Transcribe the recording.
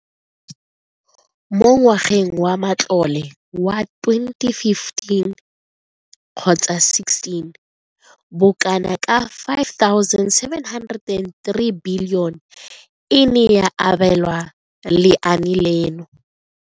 Mo ngwageng wa matlole wa 2015,16, bokanaka R5 703 bilione e ne ya abelwa lenaane leno.